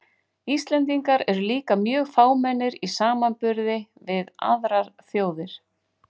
Íslendingar eru líka mjög fámennir í samanburði við aðrar þjóðir.